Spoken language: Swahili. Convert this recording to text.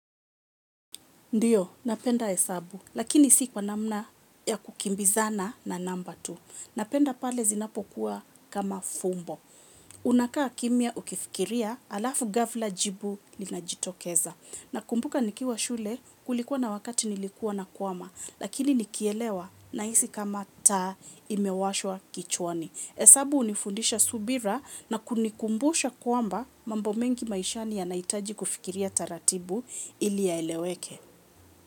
Ndiyo, napenda hesabu, lakini si kwa namna ya kukimbizana, na namba tu. Napenda pale zinapokuwa kama fumbo. Unakaa kimya ukifkiria, alafu gahfla jibu, linajitokeza. Nakumbuka nikiwa shule, kulikuwa na wakati nilikuwa nakwama. Lakini nikielewa, na isi kama taa imewashwa kichwani. Esabu unifundisha subira na kunikumbusha kwamba, mambo mengi maishani ya naitaji kufikiria taratibu, ili yaeleweke.